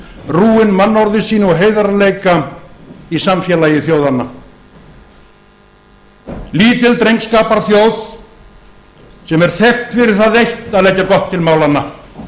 rúin mannorði sínu og heiðarleika í samfélagi þjóðanna lítil drengskaparþjóð sem er þekkt fyrir það eitt að leggja gott til málanna